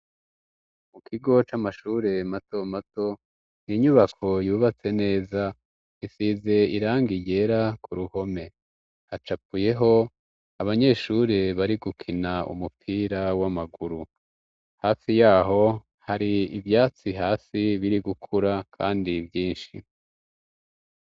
mu kigo c'amashure mato mato n inyubako yubatse neza isize irangi ryera ku ruhome hacapuyeho abanyeshure bari gukina umupira w'amaguru hafi yaho hari ivyatsi hasi biri gukura kandi byinshi